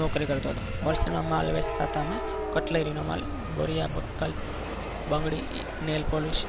નોકરી કરતો હતો હોલસેલમાં માલ વેચતા હતા અમે કટલરી નો માલ બોરીયા બક્કલ બંગડી નેલ પોલીસ